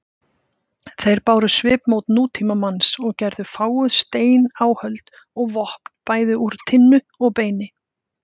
Þeir báru svipmót nútímamanns og gerðu fáguð steináhöld og vopn bæði úr tinnu og beini.